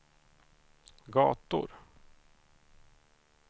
gator